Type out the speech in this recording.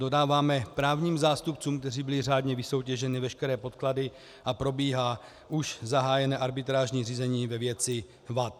Dodáváme právním zástupcům, kteří byli řádně vysoutěženi, veškeré podklady a probíhá už zahájené arbitrážní řízení ve věci vad.